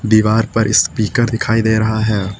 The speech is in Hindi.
दीवार पर स्पीकर दिखाई दे रहा है।